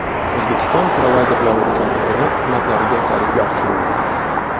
O‘zbekiston provayderlari uchun internet xizmatlariga tariflar tushirildi.